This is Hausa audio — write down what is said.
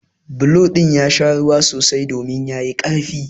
Bulo ɗin ya sha ruwa sosai domin ya yi ƙarfi.